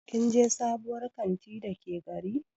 Kin je sabuwar kanti Dake gari?